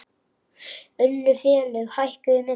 Önnur félög hækkuðu minna.